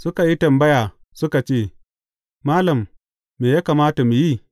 Suka yi tambaya, suka ce Malam, me ya kamata mu yi?